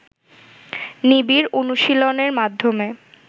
নিবিড় অনুশীলনের মাধ্যমে